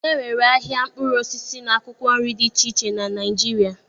E nwere ahịa mkpụrụ osisi na akwụkwọ nri dị iche iche na Naịjirịa.